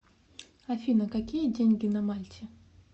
афина какие деньги на мальте